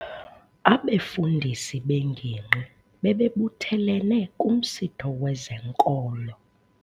Abefundisi bengingqi bebebuthelene kumsitho wezenkolo.